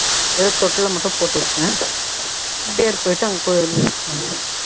தொட்டில்ல மட்டும் போட்டு விட்டுட்டேன் பேர் போய்ட்டு அங்க கோயில்ல வச்சுட்டு வந்துட்டேன்